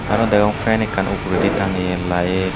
aro degong fen ekkan uguredi tangeye lite .